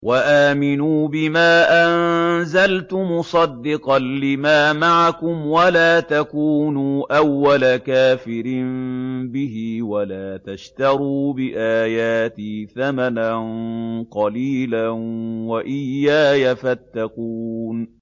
وَآمِنُوا بِمَا أَنزَلْتُ مُصَدِّقًا لِّمَا مَعَكُمْ وَلَا تَكُونُوا أَوَّلَ كَافِرٍ بِهِ ۖ وَلَا تَشْتَرُوا بِآيَاتِي ثَمَنًا قَلِيلًا وَإِيَّايَ فَاتَّقُونِ